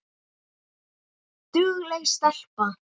Dugleg stelpa